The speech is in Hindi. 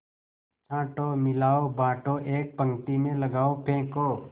छाँटो मिलाओ बाँटो एक पंक्ति में लगाओ फेंको